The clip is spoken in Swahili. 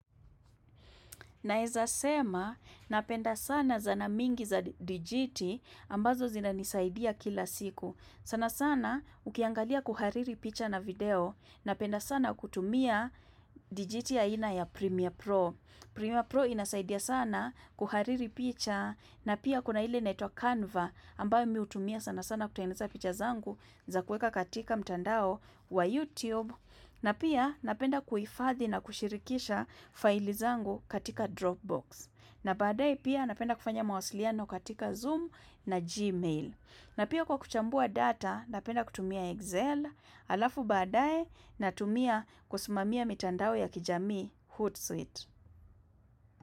Naeza sema napenda sana zana mingi za dijiti ambazo zina nisaidia kila siku. Sana sana ukiangalia kuhariri picha na video na penda sana kutumia dijiti ya ina ya Premiere Pro. Premiere Pro inasaidia sana kuhariri picha na pia kuna hile inaitwa Canva ambayo mi hutumia sana sana kutainiza picha zangu za kueka katika mtandao wa YouTube. Na pia napenda kuifdhi na kushirikisha faili zangu katika Dropbox. Na baadae pia napenda kufanya mawasiliano katika Zoom na Gmail. Na pia kwa kuchambua data napenda kutumia Excel alafu baadae natumia kusumamia mitandaoe ya kijamii Hootsuite.